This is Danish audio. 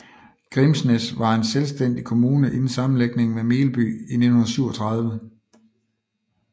Grimsnæs var en selvstændig kommune inden sammenlægning med Melby i 1937